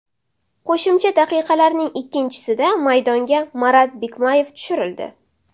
Qo‘shimcha daqiqalarning ikkinchisida maydonga Marat Bikmayev tushirildi.